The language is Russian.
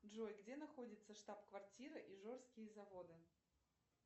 джой где находится штаб квартира ижорские заводы